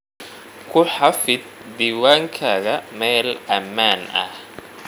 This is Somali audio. Ku xafid diiwaankaaga meel ammaan ah.